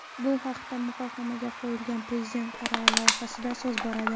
Bu haqda muhokamga qo‘yilgan Prezident qarori loyihasida so‘z boradi .